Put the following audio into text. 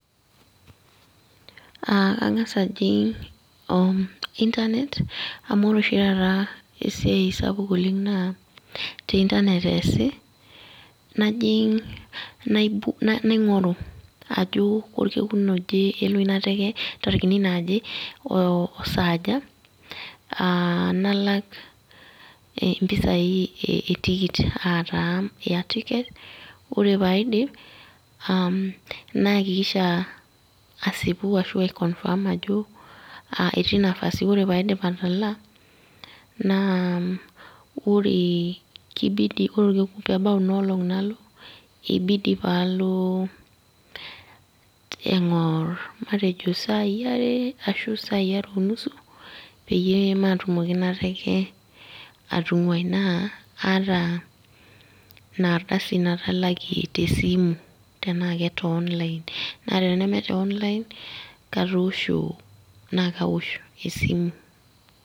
Ah kang'asa ajing' Internet, amu ore oshi taata esiai sapuk oleng naa, te Internet eesi, najing' naing'oru ajo korkekun oje elo ina teke ntarikini naje, osaaja, ah nalak mpisai etikit, ataa air ticket, ore paidip, naakikisha asieku ashu ai confirm ajo etii nafasi. Ore paidip atalaa, naa ore ki bidi ore orkekun pebau inolong' nalo, ki bidi palo eng'or matejo sai are ashu sai are onusu, peyie matumoki inateke atung'uai. Naa, aata inardasi natalakie tesimu, tenaa kete online. Naa teme te online, katoosho, nakawosh esimu.